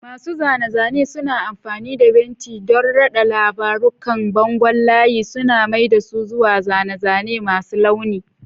Masu zane-zane suna amfani da fenti don rada labarun kan bangon layi, suna mai da su zuwa zane-zane masu launi.